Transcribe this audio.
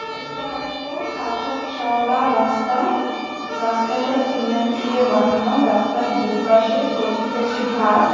এটা একটা কাঁচা চওড়া রাস্তা। রাস্তাটা সিমেন্ট দিয়ে বানানো। রাস্তার দুপাশে কচি কচি ঘাস ।